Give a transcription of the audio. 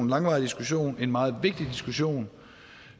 langvarig diskussion en meget vigtig diskussion